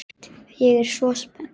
Ég er svo spennt.